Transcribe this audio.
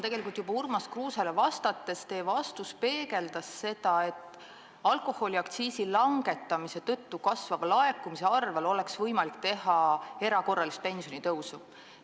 Tegelikult juba Urmas Kruusele aktsiisiteemal vastates peegeldas teie vastus seda, et alkoholiaktsiisi langetamise tõttu kasvava laekumise abil oleks võimalik erakorraline pensionitõus.